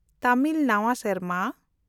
ᱛᱟᱢᱤᱞ ᱱᱟᱣᱟ ᱥᱮᱨᱢᱟ